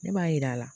Ne b'a yira la